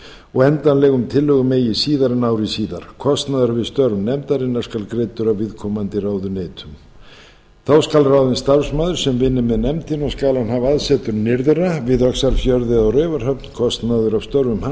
og endanlegum tillögum eigi síðar en ári síðar kostnaður við störf nefndarinnar skal greiddur af viðkomandi ráðuneytum þá skal ráðinn starfsmaður sem vinni með nefndinni og skal hann hafa aðsetur nyrðra við öxarfjörð eða á raufarhöfn kostnaður af störfum hans